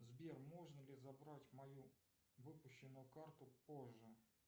сбер можно ли забрать мою выпущенную карту позже